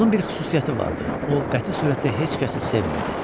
Onun bir xüsusiyyəti vardı: o qəti surətdə heç kəsi sevmir.